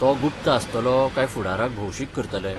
तो गुप्त आसतलो काय फुडाराक भौशीक करतले?